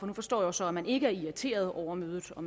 nu forstår jeg så at man ikke er irriteret over mødet og